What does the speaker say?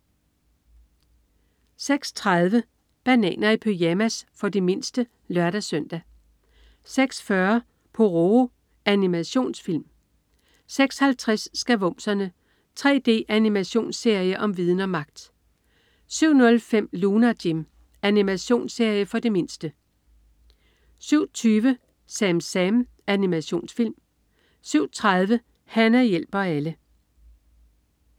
06.30 Bananer i pyjamas. For de mindste (lør-søn) 06.40 Pororo. Animationsfilm 06.50 Skavumserne. 3D-animationsserie om viden og magt! 07.05 Lunar Jim. Animationsserie for de mindste 07.20 SamSam. Animationsfilm 07.30 Hana hjælper alle